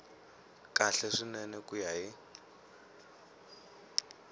kahle swinene ku ya hi